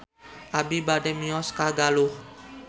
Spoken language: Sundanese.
Abi bade mios ka Stadion Galuh